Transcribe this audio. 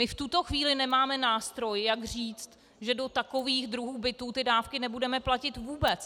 My v tuto chvíli nemáme nástroj, jak říct, že do takových druhů bytů ty dávky nebudeme platit vůbec!